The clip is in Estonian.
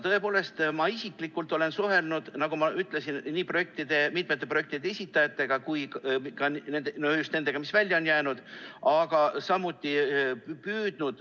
Tõepoolest, ma isiklikult olen suhelnud, nagu ma ütlesin, nii mitmete projektide esindajatega kui ka just nende väljajäänud projektide esindajatega.